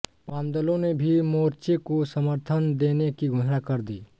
वामदलों ने भी मोर्चे को समर्थन देने की घोषणा कर दी